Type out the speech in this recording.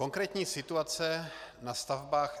Konkrétní situace na stavbách